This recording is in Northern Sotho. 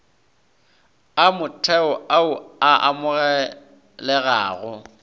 a motheo ao a amogelegago